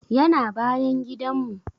Yana bayan gidan mu